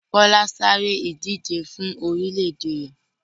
Kọ́lá sáré ìdije fún orílè-èdè rẹ̀.